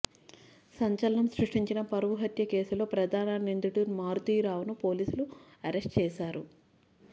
సంచలనం సృష్టించిన పరువు హత్య కేసులో ప్రధాన నిందితుడు మారుతీరావును పోలీసులు అరెస్టు చేశారు